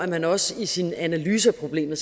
man også i sin analyse af problemet